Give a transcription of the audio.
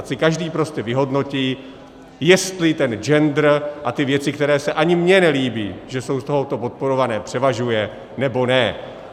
Ať si každý prostě vyhodnotí, jestli ten gender a ty věci, které se ani mně nelíbí, že jsou z tohoto podporované, převažuje, nebo ne.